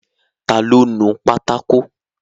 Ta ló nu pátákó?